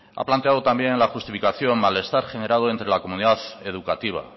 ha planteado también en la justificación malestar generado entre la comunidad educativa